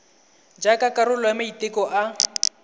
jaaka karolo ya maiteko a